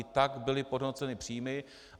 I tak byly podhodnoceny příjmy.